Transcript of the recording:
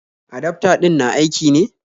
Adafta din na aiki ne?